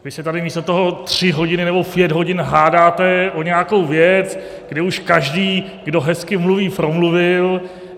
Vy se tady místo toho tři hodiny nebo pět hodin hádáte o nějakou věc, kdy už každý, kdo hezky mluví, promluvil.